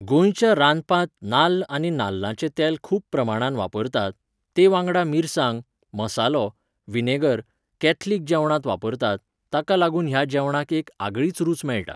गोंयच्या रांदपांत नाल्ल आनी नाल्लाचें तेल खूब प्रमाणांत वापरतात, तेवांगडा मिरसांग, मसालो, विनेगर, कॅथलिक जेवणांत वापरतात, ताका लागून ह्या जेवणाक एक आगळीच रूच मेळटा.